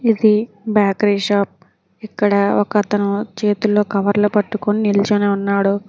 ఇది bakery shop ఇక్కడ ఒకతను చేతుల్లో కవర్లు పట్టుకొని నిల్చుని ఉన్నాడు.